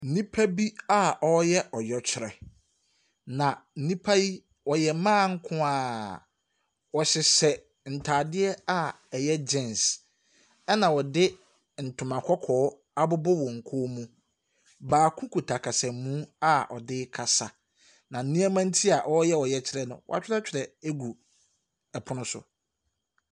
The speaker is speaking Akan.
Nnipa a wɔreyɛ ɔyɛkyerɛ, na nnipa yi, wɔyɛ mmaa nko ara. Wɔhyehyɛ ntadeɛ a ɛyɛ jeans, ɛnna wɔde ntoma kɔkɔɔ abobɔ wɔn kɔn mu. Baako kita kasamu a ɔde rekasa, na nneɛma nti a wɔreyɛ ɔyɛkyerɛ no, wɔatwerɛtwerɛ ago ɔpono so.